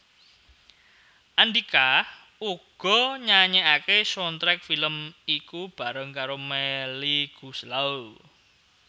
Andhika uga nyanyèkaké soundtrack film iku bareng karo Melly Goeslaw